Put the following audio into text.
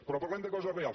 però parlem de coses reals